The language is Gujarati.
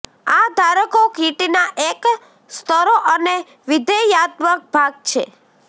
આ ધારકો કીટના એક સસ્તો અને વિધેયાત્મક ભાગ છે